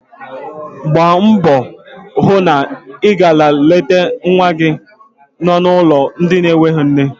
Gbaa mbọ hụ na ị gara leta nwa gị no n'ụlọ ndị enwe nne.